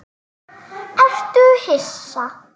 Ertu hissa?